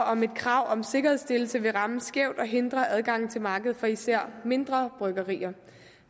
om et krav om sikkerhedsstillelse vil ramme skævt og hindre adgangen til markedet for især mindre bryggerier og